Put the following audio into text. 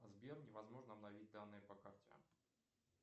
сбер невозможно обновить данные по карте